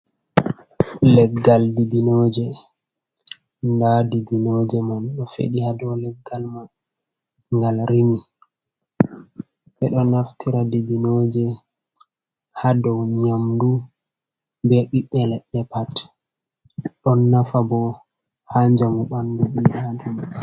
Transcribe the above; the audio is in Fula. leggal dibinoje, nda dibinoje man do fedi hado leggal man, ngal rimi, be do naftira dibinoje, ha dou nyamdu be biɓbe ledde pat. don nafa bo ha njamu bandu bi adama.